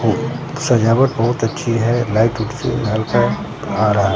सजावट बहोत अच्छी है लाइट आ रहा है।